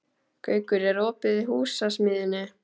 Gaukur, er opið í Húsasmiðjunni?